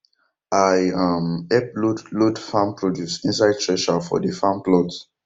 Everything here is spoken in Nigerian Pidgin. i um help load load farm produce inside thresher for dey farm plot